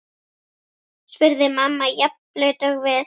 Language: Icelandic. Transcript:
spurði mamman, jafn blaut og við.